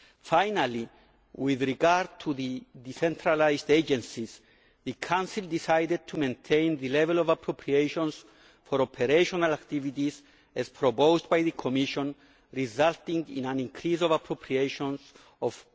Finally, with regard to the decentralised agencies the Council decided to maintain the level of appropriations for operational activities as proposed by the Commission resulting in an increase of appropriations of